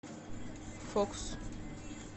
фокс